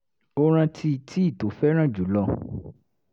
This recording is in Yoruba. ó rántí tíì tó fẹ́ràn jù lọ